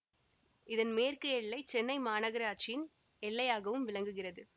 இதன் மேற்கு எல்லை சென்னை மாநகராட்சியின் எல்லையாகவும் விளங்குகிறது